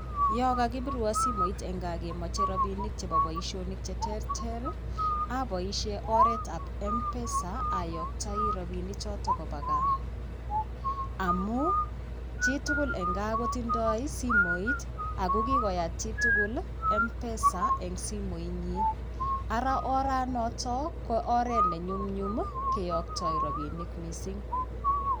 Yo kakipirwo simoit eng kaa kemoche rabinik chebo boisionik cheterter aboisie oret ap mpesa ayoktoi rabinichoto koba kaa, amu chitugul eng kaa kotindoi simoit ako kikoyaat chitugul mpesa eng simoitnyi. Ara oranotok ko oret ne nyumnyum keyoktoi rabinik mising'.